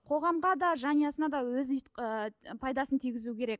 қоғамға да жанұясына да өз ыыы пайдасын тигізу керек